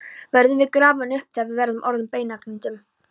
Verðum við grafin upp þegar við erum orðin að beinagrindum?